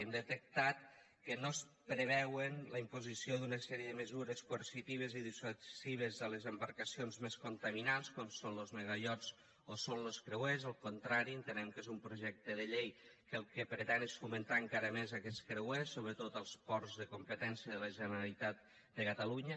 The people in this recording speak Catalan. hem detectat que no es preveu la imposició d’una sèrie de mesures coercitives i dissuasives a les embarcacions més contaminants com són los megaiots o són los creuers al contrari entenem que és un projecte de llei que el que pretén és fomentar encara més aquests creuers sobretot als ports de competència de la generalitat de catalunya